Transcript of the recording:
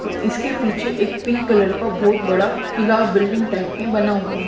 और इसके पीछे एक पिंक कलर का बहुत बड़ा किला बिल्डिंग टाइप में बना हुआ है।